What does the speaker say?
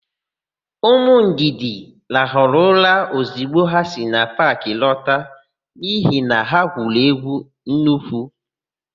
Ụmụ Ndidi rahara ụra ọzigbo ha si paakị lọta n'ihi na ha gwuru égwú nnukwu.